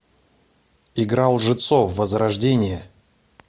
игра лжецов возрождение